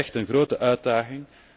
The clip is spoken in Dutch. Dat is echt een grote uitdaging.